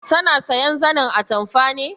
Tana sayan zanin atamfa ne?